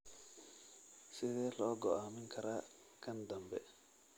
Sidee loo go'aamin karaa kan dambe?